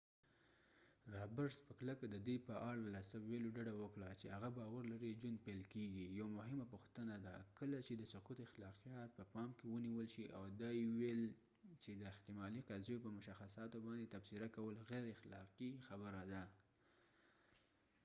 رابرټس په کلکه د دې په اړه له څه ویلو ډډه وکړه چې هغه باور لري ژوند پیل کیږي یوه مهمه پوښتنه ده کله چې د سقط اخلاقیات په پام کې ونیول شي او دا یې ویل چې د احتمالي قضیو په مشخصاتو باندې تبصره کول غیر اخلاقي خبره ده